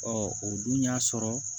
Ɔ o dun y'a sɔrɔ